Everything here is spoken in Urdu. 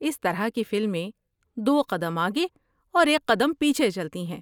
اس طرح کی فلمیں دو قدم آگے اور ایک قدم پیچھے چلتی ہیں۔